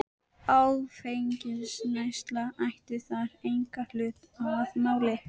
Áfengisneysla ætti þar engan hlut að máli.